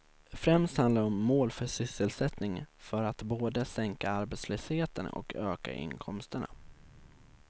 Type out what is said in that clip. Främst handlar det om mål för sysselsättningen för att både sänka arbetslösheten och öka inkomsterna.